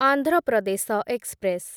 Andhra Pradesh express